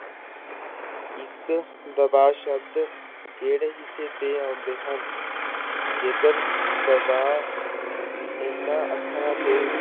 ਇੱਕ ਦਬਾ ਸ਼ਬਦ ਕਿਹੜੇ ਹਿੱਸੇ ਤੇ ਆਉਂਦੇ ਹਨ ਜੇਕਰ ਦਬਾ ਇਹਨਾਂ ਅੱਖਰਾਂ ਤੇ